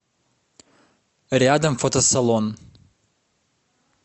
рядом фотосалон